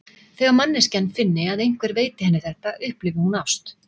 Þegar manneskjan finni að einhver veiti henni þetta, upplifi hún ást.